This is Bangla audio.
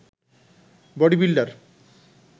body builder